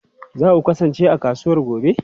Za ku kasance a kasuwa gobe?